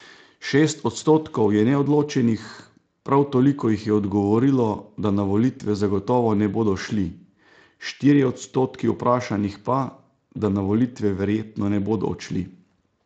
Šest odstotkov je neodločenih, prav toliko jih je odgovorilo, da na volitve zagotovo ne bodo šli, štirje odstotki vprašanih pa, da na volitve verjetno ne bodo odšli.